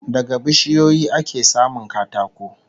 Daga bishiyoyi ake samun katako